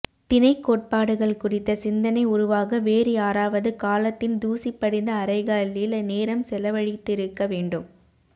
திணைக் கோட்பாடுகள் குறித்த சிந்தனை உருவாக வேறு யாராவது காலத்தின் தூசி படிந்த அறைகளில் நேரம் செலவழித்திருக்க வேண்டும்